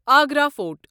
Agra fort